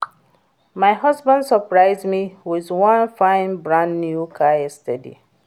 My husband surprise me with wan fine brand new car yesterday